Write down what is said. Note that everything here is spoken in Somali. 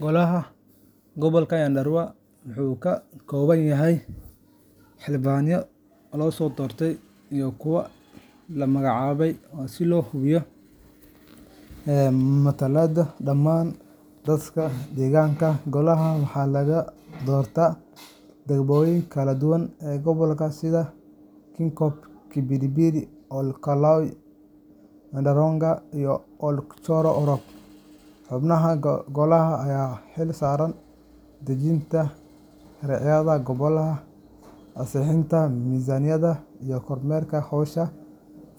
Golaha Gobolka Nyandarua wuxuu ka kooban yahay xildhibaano la soo doortay iyo kuwo la magacaabay si loo hubiyo matalaadda dhammaan dadka deegaanka. Golaha waxaa laga soo doortaa degmooyinka kala duwan ee gobolka sida Kinangop, Kipipiri, Ol Kalou, Ndaragwa, iyo Ol Joro Orok. Xubnaha golaha ayaa u xil saaran dejinta sharciyada gobolka, ansixinta miisaaniyadda, iyo kormeerka howsha